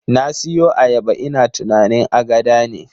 Na siyo ayaba ina tunanin agada ne